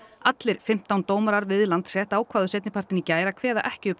allir fimmtán dómarar við Landsrétt ákváðu seinnipartinn í gær að kveða ekki upp